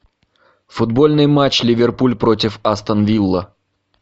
футбольный матч ливерпуль против астон вилла